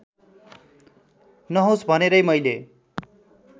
नहोस् भनेरै मैले